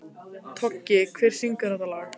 Toggi, hver syngur þetta lag?